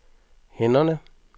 hænderne